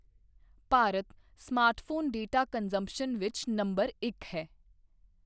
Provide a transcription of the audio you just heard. Bharat smartphone data consumption ਵਿੱਚ number ਇੱਕ ਹੈ।